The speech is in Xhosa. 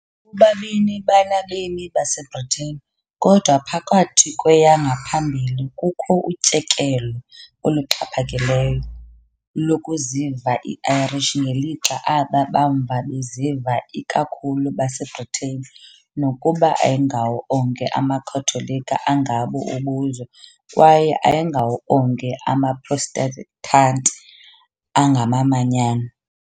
Bobabini banabemi baseBritain, kodwa phakathi kweyangaphambili kukho utyekelo oluxhaphakileyo lokuziva iIrish ngelixa aba bamva beziva ikakhulu baseBritain, nokuba ayingawo onke amaKhatholika angabo ubuzwe kwaye ayingawo onke amaProtestanti angamamanyano.